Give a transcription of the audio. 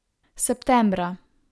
Septembra.